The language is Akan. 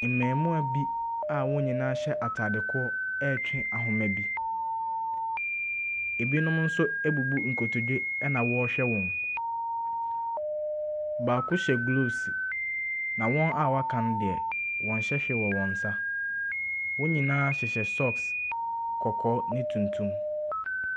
Mmarimaa bi a wɔn nyinaa hyɛ atadeɛ korɔ retwe ahomabo. Binom nso abubu nkotodwe na wɔrehwɛ wɔn. Baako hyɛ gloves, na wɔn a wɔaka no deɛ, wɔnhyɛ hwee wɔ wɔn nsa. Wɔn nyinaa hyehyɛ socks kɔkɔɔ ne tuntum.